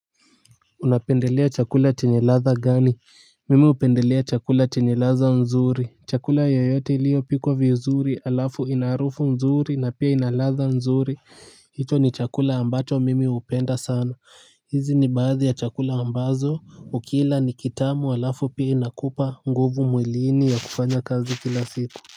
Unapendelea chakula chenye ladha gani mimi hupendelea chakula chenye laza nzuri chakula yoyote iliyopikwa vizuri halafu ina harufu nzuri na pia ina ladha nzuri. Hicho ni chakula ambacho mimi hupenda sana. Hizi ni baadhi ya chakula ambazo ukila ni kitamu halafu pia inakupa nguvu mwiliini ya kufanya kazi kila siku. Kwa.